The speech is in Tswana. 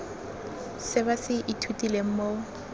se ba se ithutileng mo